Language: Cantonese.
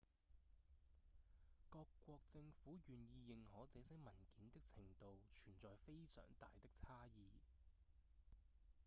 各國政府願意認可這些文件的程度存在非常大的差異